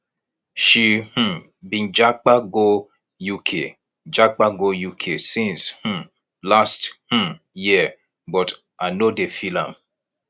she um been japa go uk japa go uk since um last um year but i no dey feel am